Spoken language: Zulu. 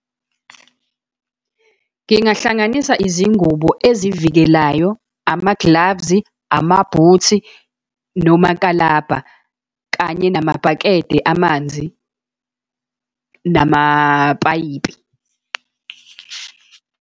Ngingahlanganisa izingubo ezivikelayo, ama-gloves, ama-boots, nomakalabha, kanye namabhakede amanzi, namapayipi.